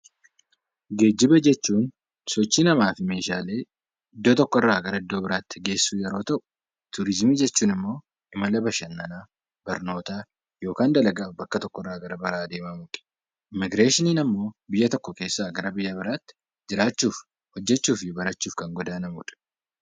Geejjiba jechuun sochii namaa fi meeshaalee iddoo tokkorraa gara iddoo biraatti geessuu yeroo ta'u, turizimii jechuun immoo mala bashannanaa barnootaa yookiin dalagaa bakka tokkooti. Immiigireeshiniin immoo biyya tokko keessaa gara biyya biraatti jiraachuuf, barachuu fi hojjachuuf kan godaanamudha.